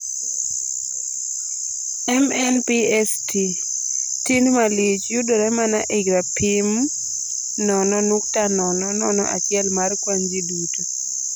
MNPST tin malich, yudore mana ei rapim 0.001 mar kwan ji duto